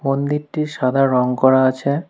মন্দিরটি সাদা রং করা আছে।